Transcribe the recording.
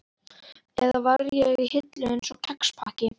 Eða var ég í hillu, einsog kexpakki?